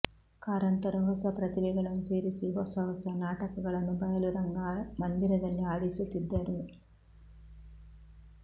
ಕಾರಂತರು ಹೊಸ ಪ್ರತಿಭೆಗಳನ್ನು ಸೇರಿಸಿ ಹೊಸ ಹೊಸ ನಾಟಕಗಳನ್ನು ಬಯಲು ರಂಗ ಮಂದಿರದಲ್ಲಿ ಆಡಿಸುತ್ತಿದ್ದರು